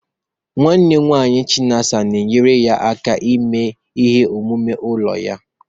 Nwanne nwanyi chinasa na-enyere ya aka ịme ihe omume ụlọ ya.